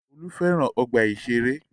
Olú fẹ́ràn ọgbà-ìṣeré.